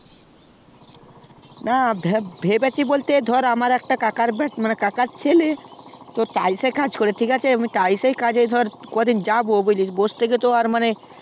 না ভাবছি বলতে আমার একটা কাকার ছেলে টাইসসে কাজ করে ঠিক আছে তো আমি ধর কদিন যাবো বসে থাকে তো মানে